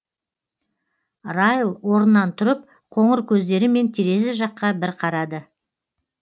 райл орнынан тұрып қоңыр көздерімен терезе жаққа бір қарады